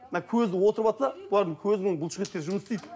мына көзі отырыватса олардың көзінің бұлшық еттері жұмыс істейді